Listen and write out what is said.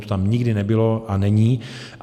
To tam nikdy nebylo a není.